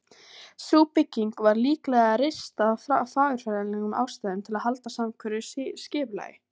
Sú bygging var líklega reist af fagurfræðilegum ástæðum, til að halda samhverfu skipulagi.